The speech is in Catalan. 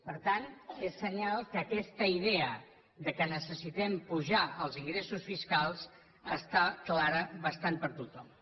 per tant és senyal que aquesta idea que necessitem apujar els ingressos fiscals està clara bastant per a tothom